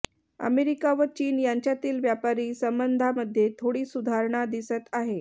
America व चीन यांच्यातील व्यापारी संबंधांमध्ये थोडी सुधारणा दिसत आहे